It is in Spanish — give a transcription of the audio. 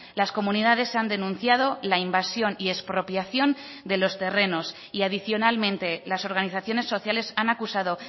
las comunidades han denunciado la invasión y expropiación de los terrenos y adicionalmente las organizaciones sociales han acusado